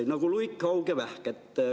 Nagu luik, haug ja vähk.